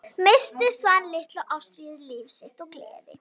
Missti Svan litla og Ástríði, líf sitt og gleði.